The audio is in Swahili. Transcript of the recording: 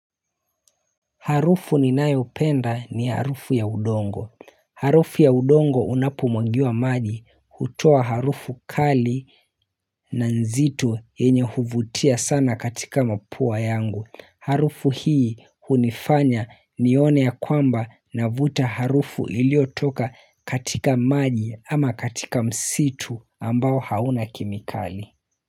Harufu ninayoipenda ni harufu ya udongo. Harufu ya udongo unapo mwagiwa maji hutoa harufu kali na nzito yenye huvutia sana katika mapua yangu. Harufu hii hunifanya nione ya kwamba navuta harufu iliotoka katika maji ama katika msitu ambao hauna kemikali.